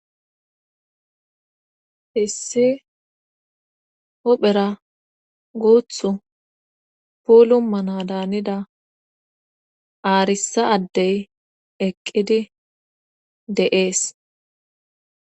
issi hophera guuthut puulu mana daanida aarissa addey eqqidi de7ees